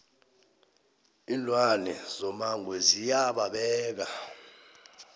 iinlwane zomango ziya babeka